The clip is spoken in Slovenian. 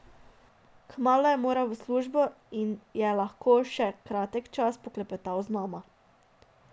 Kmalu je moral v službo in je lahko le še kratek čas poklepetal z nama.